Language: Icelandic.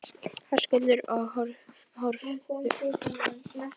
Höskuldur: Og horfðuð þið eitthvað á eftir honum þarna niður?